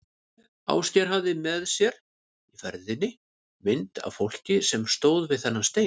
Ásgeir hafði með sér í ferðinni mynd af fólki sem stóð við þennan stein.